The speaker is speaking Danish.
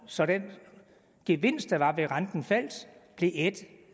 så den gevinst der var ved at renten faldt blev ædt